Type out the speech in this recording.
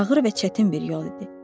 Ağır və çətin bir yol idi.